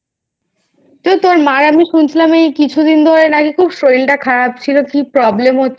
তো তোর মায়ের আমি শুনছিলাম এই কিছুদন ধরে নাকি খুব শরীর টা খারাপ ছিল কি problem হচ্ছিলো